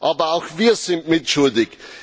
Aber auch wir sind mitschuldig.